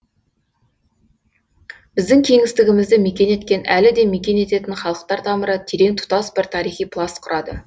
біздің кеңістігімізді мекен еткен әлі де мекен ететін халықтар тамыры терең тұтас бір тарихи пласт құрады